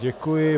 Děkuji.